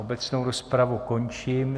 Obecnou rozpravu končím.